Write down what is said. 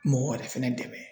Mɔgɔ wɛrɛ fɛnɛ dɛmɛ.